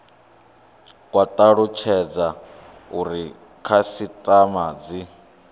kwa talutshedza uri khasitama dzi